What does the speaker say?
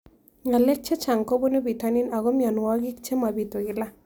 Ng'alek chechang' kopunu pitonin ako mianwogik che mapitu kila